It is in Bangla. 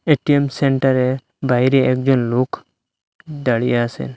এ_টি_এম সেন্টারের বাইরে একজন লোক দাঁড়িয়ে আসে।